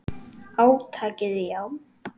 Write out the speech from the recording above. Átakið, já.